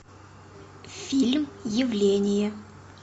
фильм явление